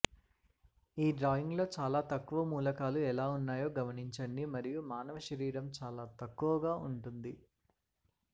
ఈ డ్రాయింగ్లో చాలా తక్కువ మూలకాలు ఎలా ఉన్నాయో గమనించండి మరియు మానవ శరీరం చాలా తక్కువగా ఉంటుంది